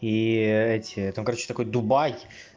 и эти там короче такой дубай